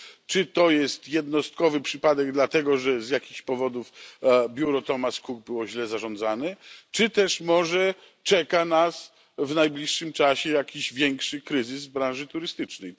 Czy to jest jednostkowy przypadek, dlatego że z jakichś powodów biuro Thomas Cook było źle zarządzane, czy też może czeka nas w najbliższym czasie większy kryzys w branży turystycznej?